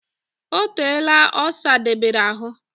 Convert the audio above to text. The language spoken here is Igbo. O teela o sadobere ahu